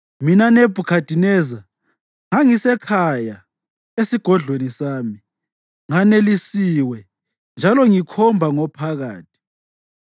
Mina, Nebhukhadineza, ngangisekhaya esigodlweni sami, nganelisiwe njalo ngikhomba ngophakathi.